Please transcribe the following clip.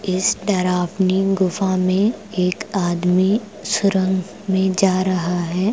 इस तरफ नीम गुफा में एक आदमी सुरंग में जा रहा है।